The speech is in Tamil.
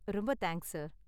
ரொம்ப தேங்க்ஸ், சார்.